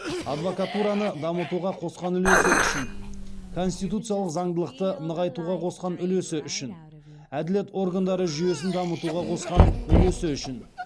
адвакатураны дамытуға қосқан улесі үшін конституциялық заңдылықты нығайтуға қосқан үлесі үшін әділет органдары жүйесін дамытуға қосқан үлесі үшін